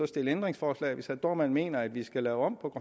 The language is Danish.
stille ændringsforslag hvis herre dohrmann mener at vi skal lave om